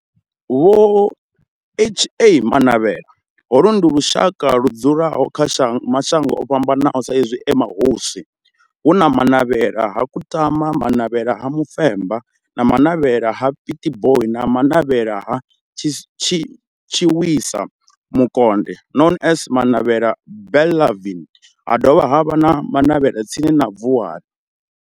Vho Ha-Manavhela, holu ndi lushaka ludzula kha mashango ofhambanaho sa izwi e mahosi hu na Manavhela ha Kutama, Manavhela ha Mufeba, Manavhela ha Pietboi na Manavhela ha Tshiwisa Mukonde known as Manavhela Benlavin ha dovha havha na Manavhela tsini na Vuwani.